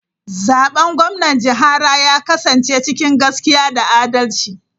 Zaben gwamnan jihara ya kasance cikin gaskiya da adalci.